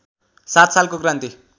सात सालको क्रान्ति